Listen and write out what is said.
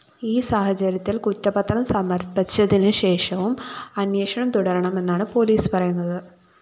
ഈ സാഹചര്യത്തില്‍ കുറ്റപത്രം സമര്‍പ്പിച്ചതിനുശേഷവും അന്വേഷണം തുടരുമെന്നാണ് പോലീസ് പറയുന്നത്